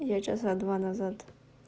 я часа два назад